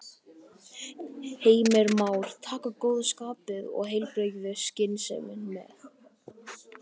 Heimir Már: Taka góða skapið og heilbrigðu skynsemina með?